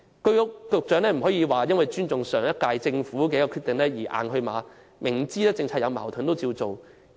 局長不能說基於尊重上屆政府的決定而"硬去馬"，明知政策出現矛盾卻仍然維持不變。